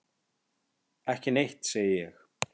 Ekki neitt, segi ég.